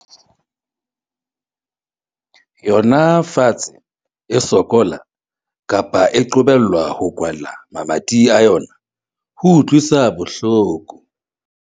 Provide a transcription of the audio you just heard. yona fatshe e sokola, kapa e qobellwa ho kwala mamati a yona, ho utlwisa bohloko.